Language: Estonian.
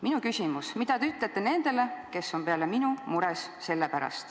Minu küsimus: mida te ütlete nendele, kes on peale minu selle pärast mures?